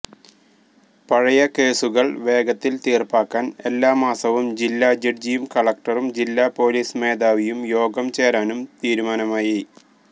പഴയകേസുകള് വേഗത്തില് തീര്പ്പാക്കാന് എല്ലാമാസവും ജില്ലാ ജഡ്ജിയും കളക്ടറും ജില്ലാ പോലീസ് മേധാവിയും യോഗം ചേരാനും തീരുമാനമായി